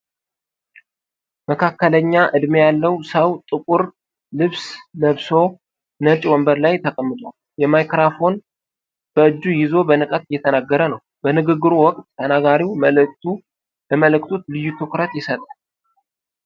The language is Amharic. መካከለኛ ዕድሜ ያለው ሰው ጥቁር ልብስ ለብሶ፣ ነጭ ወንበር ላይ ተቀምጧል። ማይክራፎኑን በእጁ ይዞ በንቃት እየተናገረ ነው። በንግግሩ ወቅት ተናጋሪው ለመልእክቱ ልዩ ትኩረት ይሰጣል።